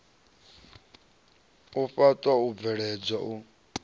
u faṱwa u bveledzwa u